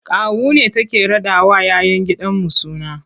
Kawu ne take raɗawa 'ya 'yan gidanmu suna.